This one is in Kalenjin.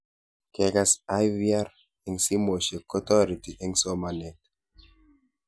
Kekas IVR eng' simoshek kotareti eng' somanet